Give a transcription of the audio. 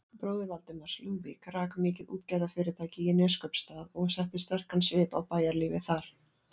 Bróðir Valdimars, Lúðvík, rak mikið útgerðarfyrirtæki í Neskaupsstað og setti sterkan svip á bæjarlífið þar.